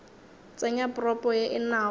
tsenya propo ye e nago